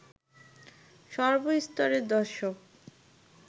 সর্ব স্তরের দর্শক